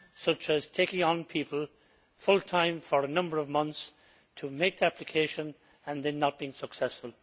such as taking on people full time for a number of months to make an application, and then not being successful.